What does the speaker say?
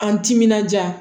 An timinanja